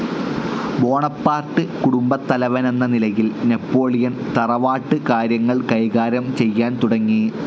Bonaparte കുടുംബത്തലവനെന്ന നിലയിൽ Napoleon തറവാട്ട് കാര്യങ്ങൾ കൈകാര്യം ചെയ്യാൻ തുടങ്ങി.